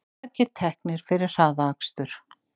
Margir teknir fyrir hraðakstur